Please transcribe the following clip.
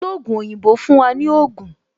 Ologun oyinbo fún wa ní Ogun